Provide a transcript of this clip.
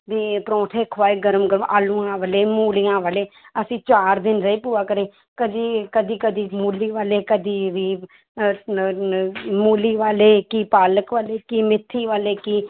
ਵੀ ਪਰੋਠੇ ਖਵਾਏ ਗਰਮ ਗਰਮ ਆਲੂਆਂ ਵਾਲੇ, ਮੂਲੀਆਂ ਵਾਲੇ ਅਸੀਂ ਚਾਰ ਦਿਨ ਰਹੇ ਭੂਆ ਘਰੇ ਕਦੇ, ਕਦੇ-ਕਦੇ ਮੂਲੀ ਵਾਲੇ ਕਦੇ ਵੀ ਅਹ ਨ~ ਨ~ ਮੂਲੀ ਵਾਲੇ ਕੀ ਪਾਲਕ ਵਾਲੇ ਕੀ ਮੇਥੀ ਵਾਲੇ ਕੀ